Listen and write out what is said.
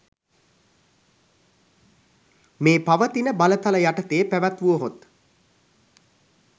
මේ පවතින බලතල යටතේ පැවැත්වුවහොත්